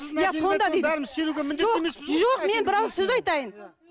бәріміз сенуге міндетті жоқ жоқ мен бір ауыз сөз айтайын